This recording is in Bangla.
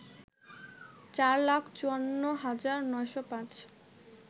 চার লাখ ৫৪ হাজার ৯০৫